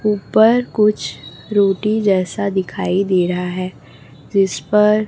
ऊपर कुछ रोटी जैसा दिखाई दे रहा है जिस पर--